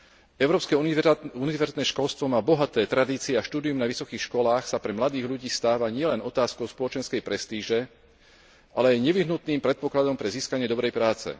V Európskej únii univerzitné školstvo má bohaté tradície a štúdium na vysokých školách sa pre mladých ľudí stáva nielen otázkou spoločenskej prestíže, ale aj nevyhnutným predpokladom pre získanie dobrej práce.